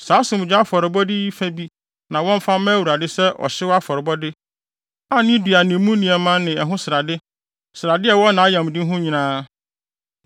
Saa asomdwoe afɔrebɔde yi fa bi na wɔmfa mma Awurade sɛ ɔhyew afɔrebɔde a ne dua ne mu nneɛma ne ɛho srade, srade a ɛwɔ nʼayamde ho no nyinaa,